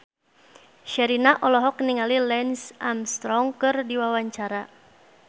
Sherina olohok ningali Lance Armstrong keur diwawancara